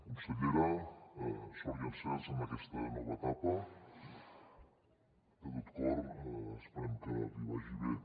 consellera sort i encerts en aquesta nova etapa de tot cor esperem que li vagi bé